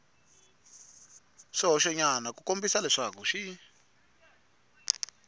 swihoxonyana ku kombisa leswaku xi